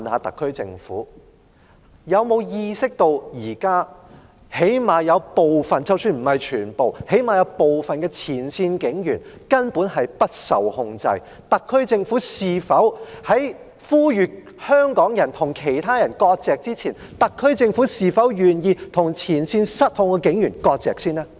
特區政府有沒有意識到現時——即使不是全部——有部分前線警員根本不受控制，特區政府呼籲香港人與其他人割席之前，是否願意先與前線失控的警員割席呢？